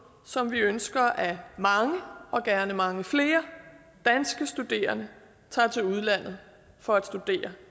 som når vi ønsker at mange og gerne mange flere danske studerende tager til udlandet for at studere